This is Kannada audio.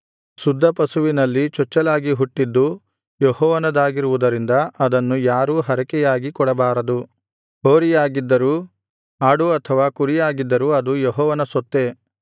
ಶುದ್ಧ ಪಶುವಿನಲ್ಲಿ ಚೊಚ್ಚಲಾಗಿ ಹುಟ್ಟಿದ್ದು ಯೆಹೋವನದಾಗಿರುವುದರಿಂದ ಅದನ್ನು ಯಾರೂ ಹರಕೆಯಾಗಿ ಕೊಡಬಾರದು ಹೋರಿಯಾಗಿದ್ದರೂ ಆಡು ಅಥವಾ ಕುರಿಯಾಗಿದ್ದರೂ ಅದು ಯೆಹೋವನ ಸೊತ್ತೇ